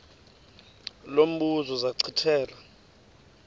lo mbuzo zachithela